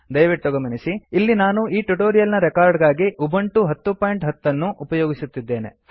ದಯವಿಟ್ಟು ಗಮನಿಸಿ ಇಲ್ಲಿ ನಾನು ಈ ಟ್ಯುಟೋರಿಯಲ್ ನ ರೆಕಾರ್ಡ್ ಗಾಗಿ ಉಬಂಟು 1010 ಅನ್ನು ಉಪಯೋಗಿಸುತ್ತಿದ್ದೇನೆ